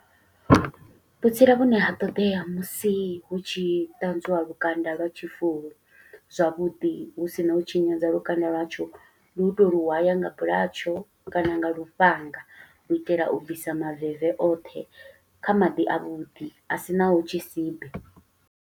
Vhutsila vhune ha ṱodea musi hu tshi ṱanzwiwa lukanda lwa tshi fulu zwavhuḓi, hu sina u tshinyadza lukanda lwatsho. Ndi u tou lu hwaya nga bulatsho kana nga lufhanga, u itela u bvisa maveve oṱhe, kha maḓi a vhuḓi a sinaho tshisibe.